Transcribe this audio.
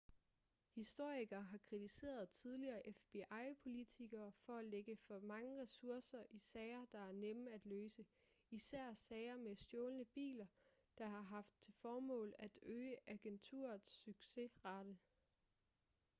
historikere har kritiseret tidligere fbi-politikker for at lægge for mange ressourcer i sager der er nemme at løse især sager med stjålne biler der har haft til formål at øge agenturets succesrate